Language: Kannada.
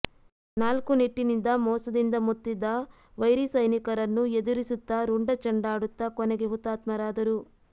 ನಾಲ್ಕುನಿಟ್ಟಿನಿಂದ ಮೋಸದಿಂದ ಮುತ್ತಿದ ವೈರಿ ಸೈನಿಕರನ್ನು ಎದುರಿಸುತ್ತ ರುಂಡ ಚಂಡಾಡುತ್ತ ಕೊನೆಗೆ ಹುತಾತ್ಮರಾದರು